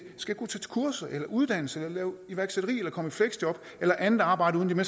skal kunne tage kurser eller uddannelse eller lave iværksætteri eller komme i fleksjob eller andet arbejde uden at